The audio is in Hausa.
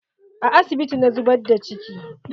A asibiti na zubar da ciki.